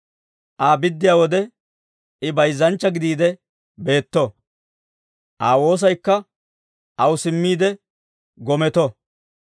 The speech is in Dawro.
Aa biddiyaa wode, I bayzzanchcha gidiide beetto; Aa woosaykka aw simmiide gometo!